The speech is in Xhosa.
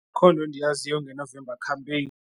Akho nto ndiyaziyo ngeNovember Campaign.